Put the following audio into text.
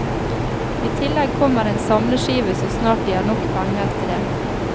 I tillegg kommer en samleskive så snart de har nok penger til det.